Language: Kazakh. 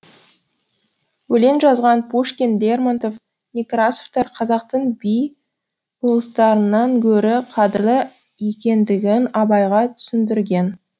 өлең жазған пушкин лермонтов некрасовтар қазақтың би болыстарынан гөрі қадірлі екендігін абайға түсіндірген